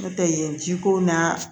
N'o tɛ yen ji ko na